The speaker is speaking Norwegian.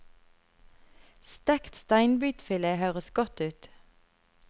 Stekt steinbitfilet høres godt ut.